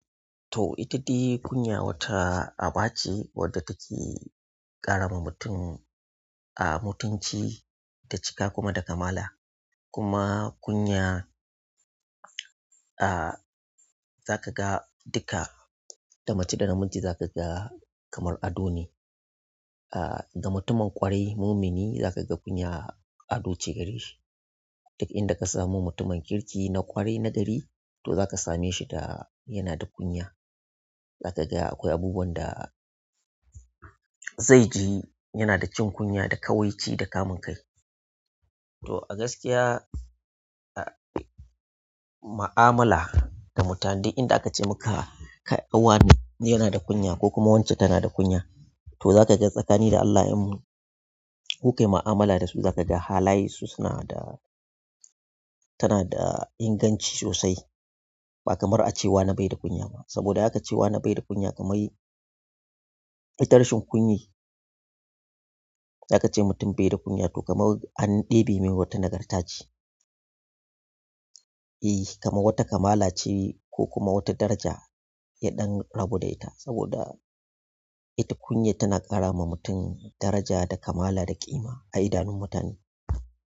To ita dai kunya wata aba ce wadda take ƙara wa mutum a mutunci da cika kuma da kamala. Kuma kunya, a za ka ga duka da mace da namiji za ka ga kamar ado ne. A ga mutumin ƙwarai mumini za ka ga kunya ado ce gareshi. Duk inda ka samu mutumin kirki na ƙwarai na gari to za ka same shi da yana da kunya. Za ka ga akwai abubuwan da zai ji yana da jin kunya da ƙawai ci da kamun kai. To a gaskiya a mu'amala da mutane duk inda aka ce maka kai wane, yana da kunya ko kuma wance tana da kunya to za ka ga tsakanin da Allah in kuka yi ma'amala da su za ka ga halaye su suna da tana da inganci sosai ba kamar a ce wane bai da kunya ba. Saboda aka ce wane bai da kunya kamar ita rashin kunyar zaka ce mutum bai da kunya to kamar an ɗebe mai wata nagarta ce i kama wata ƙamala ce ko kuma wata daraja ya ɗan rabu da ita saboda ita kunya tana ƙara ma mutum daraja da kamala da ƙima a idanun mutane.